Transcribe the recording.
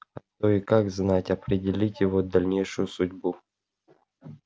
а то и как знать определить его дальнейшую судьбу